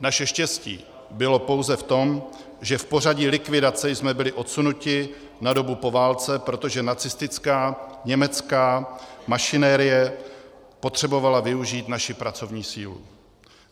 Naše štěstí bylo pouze v tom, že v pořadí likvidace jsme byli odsunuti na dobu po válce, protože nacistická německé mašinerie potřebovala využít naši pracovní sílu.